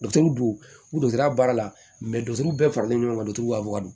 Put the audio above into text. dugu ta baara la bɛɛ faralen ɲɔgɔn ka don ka bɔ a kan